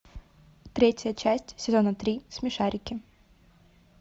третья часть сезона три смешарики